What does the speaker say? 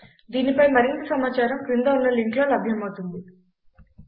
దీనిపై మరింత సమాచారం క్రింద ఉన్న లింక్లో లభ్యమవుతుంది httpspoken tutorialorgNMEICT Intro